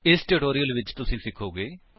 ਇਸ ਟਿਊਟੋਰਿਅਲ ਵਿੱਚ ਤੁਸੀ ਸਿਖੋਗੇ ਕਿ